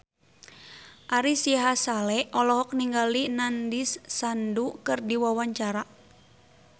Ari Sihasale olohok ningali Nandish Sandhu keur diwawancara